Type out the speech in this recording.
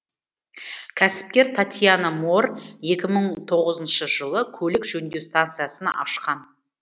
кәсіпкер татьяна моор екі мың тоғызыншы жылы көлік жөндеу станциясын ашқан